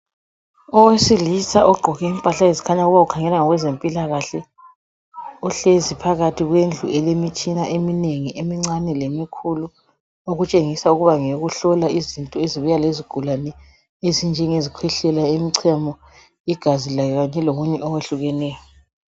Owesilisa ogqoke impahla ezikhanya ukuba ukhangela ngokwezempilakahle uhlezi phakathi kwendlu elemitshina eminengi emincane lemikhulu okutshengisa ukuba ngeyokuhlola izinto ezibuya lezigulane ezinjengezikhwehlela imichemo igazi kanye lokunye okwehlukeneyo